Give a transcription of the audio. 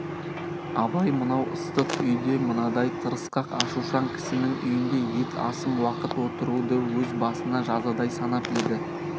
абай мынау ыстық үйде мынадай тырысқақ ашушаң кісінің үйінде ет асым уақыт отыруды өз басына жазадай санап еді